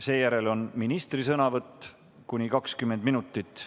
Seejärel on ministri sõnavõtt, samuti kuni 20 minutit.